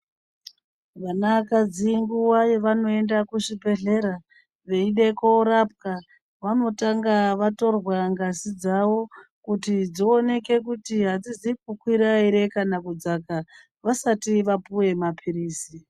Vanakadzi nguva yevanoenda kuzvibhedhlera, veida koorapwa, vanotanga vatorwa ngazi dzavo, kuti dzioneke kuti adzizi kukwira ere kana kudzaka, vasati vapuwe maphirizi.